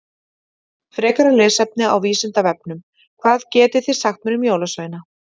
Frekara lesefni á Vísindavefnum: Hvað getið þið sagt mér um jólasveina?